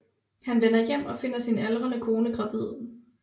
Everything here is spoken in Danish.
Han vender hjem og finder sin aldrende kone gravid